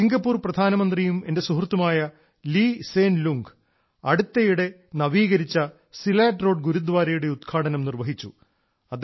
Singapore പ്രധാനമന്ത്രിയും എന്റെ സുഹൃത്തുമായ ലീ സേൻ ലുംഗ് അടുത്തിടെ നവീകരിച്ച ചെയ്ത സിലാറ്റ് റോഡ് ഗുരുദ്വാരയുടെ ഉദ്ഘാടനം നിർവഹിച്ചു